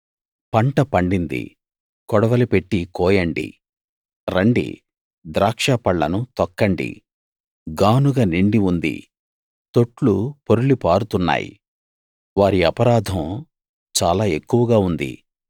పంట పండింది కొడవలి పెట్టి కోయండి రండి ద్రాక్ష పళ్ళను తొక్కండి గానుగ నిండి ఉంది తొట్లు పొర్లి పారుతున్నాయి వారి అపరాధం చాలా ఎక్కువగా ఉంది